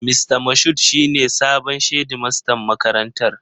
Mista Moshood shi ne sabon shedimastan makarantar.